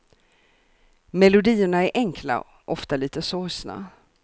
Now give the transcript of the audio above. Melodierna är enkla, ofta lite sorgsna.